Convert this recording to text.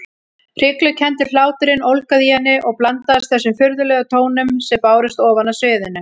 Hryglukenndur hláturinn ólgaði í henni og blandaðist þessum furðulegum tónum sem bárust ofan af sviðinu.